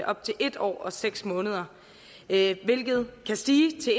op til en år og seks måneder hvilket kan stige til